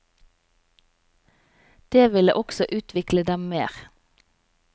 Det ville også utvikle dem mer.